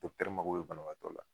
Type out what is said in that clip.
mago bɛ banabaatɔ la